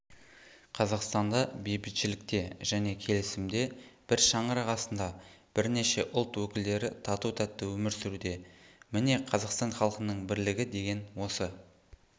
қазақстанда бейбітшілікте және келісімде бір шаңырақ астында бірнеше ұлт өкілдері тату-тәтті өмір сүруде міне қазақстан халқының бірлігі деген осы